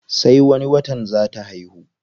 Sai wani watan zaa ta haihu.